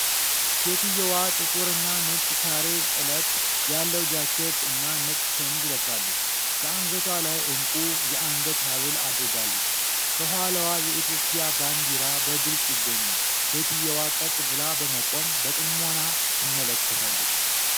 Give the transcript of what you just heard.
ሴትየዋ ጥቁርና ነጭ ካሬ ጥለት ያለው ጃኬት እና ነጭ ሸሚዝ ለብሳለች። በአንገቷ ላይ ዕንቁ የአንገት ሀብል አድርጋለች። ከኋላዋ የኢትዮጵያ ባንዲራ በግልጽ ይገኛል። ሴትየዋ ቀጥ ብላ በመቆም በጥሞና ትመለከታለች።